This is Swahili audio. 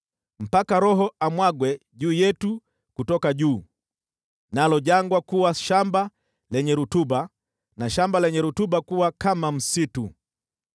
mpaka Roho amwagwe juu yetu kutoka juu, nalo jangwa kuwa shamba lenye rutuba, na shamba lenye rutuba kuwa kama msitu.